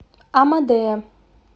амадея